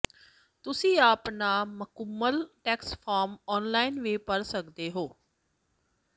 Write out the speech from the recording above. ਤੁਸੀਂ ਆਪਣਾ ਮੁਕੰਮਲ ਟੈਕਸ ਫਾਰਮ ਆਨਲਾਈਨ ਵੀ ਭਰ ਸਕਦੇ ਹੋ